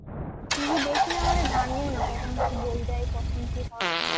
TV দেখি না বলে জানিও না কখন কি বই দেয় কখন কি হয়